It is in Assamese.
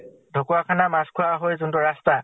ঢ্কুৱাখানা মাছ্খোৱা হৈ যোনটো ৰাস্তা,